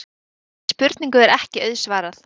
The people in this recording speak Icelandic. Þessari spurningu er ekki auðsvarað.